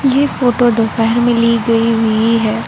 ये फोटो दोपहर में ली गई हुई है।